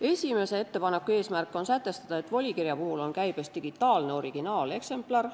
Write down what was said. Esimese ettepaneku eesmärk on sätestada, et volikirja puhul on käibes digitaalne originaaleksemplar.